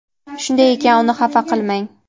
Shunday ekan, uni xafa qilmang.